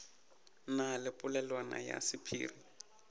na le polelwana ya sephiri